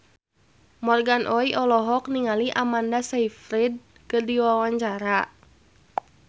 Morgan Oey olohok ningali Amanda Sayfried keur diwawancara